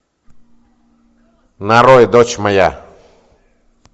нарой дочь моя